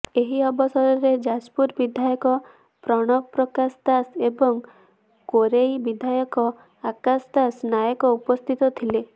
ଏହି ଅବସରରେ ଯାଜପୁର ବିଧାୟକ ପ୍ରଣବ ପ୍ରକାଶ ଦାସ ଏବଂ କୋରେଇ ବିଧାୟକ ଆକାଶଦାସ ନାୟକ ଉପସ୍ଥିତ ଥିଲେ